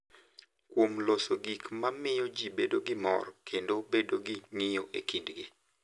Kuom loso gik ma miyo ji bedo gi mor kendo bedo gi ng’iyo e kindgi.